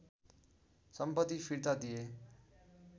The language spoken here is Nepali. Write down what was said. सम्पति फिर्ता दिए